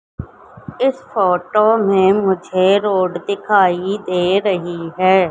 इस फोटो में मुझे रोड दिखाई दे रही है।